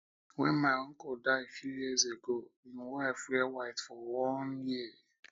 wen my uncle die few years ago im wife wear white for one for one year